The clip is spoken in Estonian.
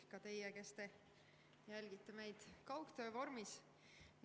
Ka teie, kes te jälgite meid kaugtöö vormis!